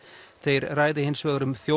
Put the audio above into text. þeir ræði hins vegar um